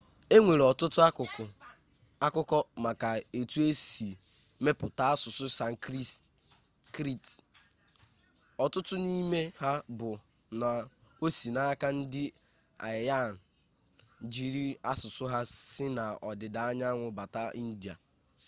enwere ọtụtụ akụkọ maka etu e si mepụta asụsụ sanskrit otu n'ime ha bụ na o si n'aka ndị aryan jiiri asụsụ ha si n'ọdịda anyanwụ bata india